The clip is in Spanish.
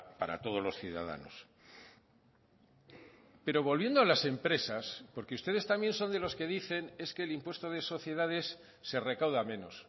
para todos los ciudadanos pero volviendo a las empresas porque ustedes también son de los que dicen es que el impuesto de sociedades se recauda menos